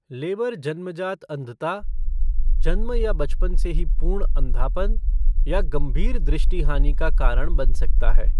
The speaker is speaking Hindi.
लेबर जन्मजात अंधता जन्म या बचपन से ही पूर्ण अंधापन या गंभीर दृष्टि हानि का कारण बन सकता है।